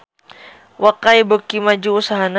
Wakai beuki maju usahana